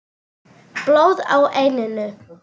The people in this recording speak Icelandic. Blóð á enninu.